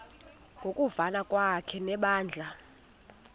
ngokuvana kwakhe nebandla